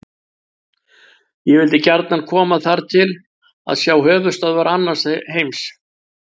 Ég vildi gjarnan koma þar til að sjá höfuðstöðvar annars heims.